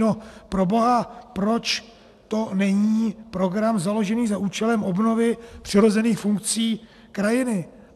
No proboha, proč to není program založený za účelem obnovy přirozených funkcí krajiny?